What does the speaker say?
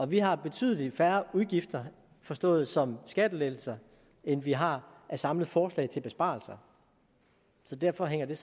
vi har betydelig færre udgifter forstået som skattelettelser end vi har af samlede forslag til besparelser så derfor hænger det